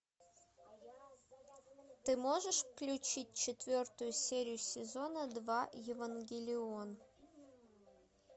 ты можешь включить четвертую серию сезона два евангелион